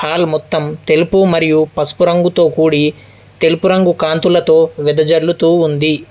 Hall మొత్తం తెలుపు మరియు పసుపు రంగుతో కూడి తెలుపు రంగు కాంతులతో వెదజల్లుతూ ఉంది.